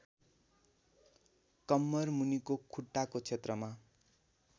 कम्मरमुनिको खुट्टाको क्षेत्रमा